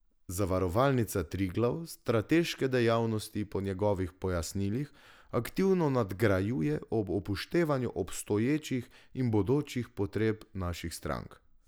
Zavarovalnica Triglav strateške dejavnosti po njegovih pojasnilih aktivno nadgrajuje ob upoštevanju obstoječih in bodočih potreb naših strank.